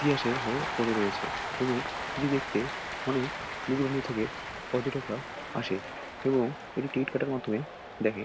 তিয়াসী হয়ে পড়ে রয়েছে এবং এটি দেখতে অনেক দুরানু থেকে পর্যটকরা আসে এবং এটি টিকিট কাটার মাধ্যমে দেখে।